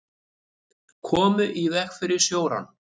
Komu í veg fyrir sjórán